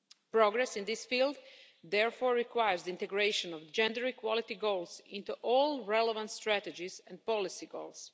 Progress in this field, therefore, requires the integration of gender equality goals into all relevant strategies and policy goals.